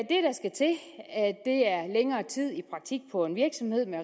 længere tid i praktik på en virksomhed med